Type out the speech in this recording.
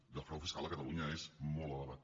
i el frau fiscal a catalunya és molt elevat